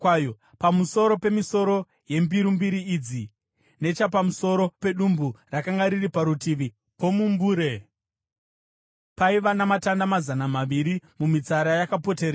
Pamusoro pemisoro yembiru mbiri idzi, nechapamusoro pedumbu rakanga riri parutivi pomumbure, paiva namatamba mazana maviri mumitsara yakapoteredza.